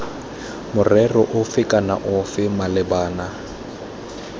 morero ofe kana ofe malebana